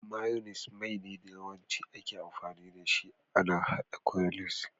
Mayunis Mai ne da Yawancin ake amfani dashi a haɗa coleslaw.